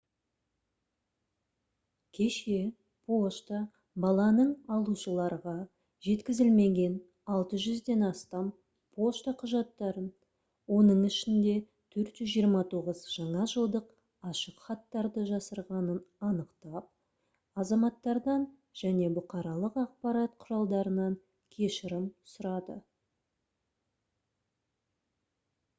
кеше пошта баланың алушыларға жеткізілмеген 600-ден астам пошта құжаттарын оның ішінде 429 жаңа жылдық ашықхаттарды жасырғанын анықтап азаматтардан және бұқаралық ақпарат құралдарынан кешірім сұрады